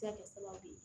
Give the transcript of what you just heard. Se ka kɛ sababu ye